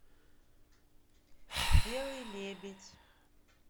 белый лебедь